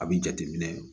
A bi jate minɛ